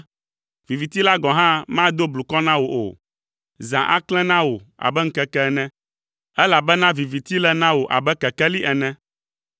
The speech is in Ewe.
viviti la gɔ̃ hã mado blukɔ na wò o, zã aklẽ na wò abe ŋkeke ene, elabena viviti le na wò abe kekeli ene.